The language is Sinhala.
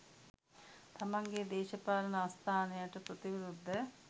තමන්ගෙ දේශපාලන ආස්ථානයට ප්‍රතිවිරුද්ධ